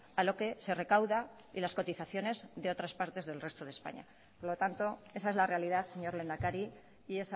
a lo que se recauda y las cotizaciones de otras partes del resto de españa por lo tanto esa es la realidad señor lehendakari y